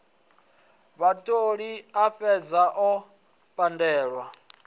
vhatholi a fhedze o pandelwa